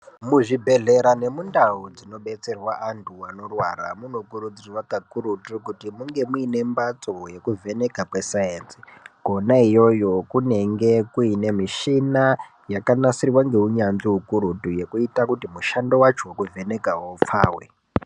Muzvibhedhlera nemundau dzinodetserwa antu anorwara munokurudzirwa kakurutu kuti munge mune mbatso yekuvheneka kwesainzi Kona iyoyo kunenge kune mishina yakanasirwa neunyanzvi inoita kuti mushando wacho wekuvheneka upfawe.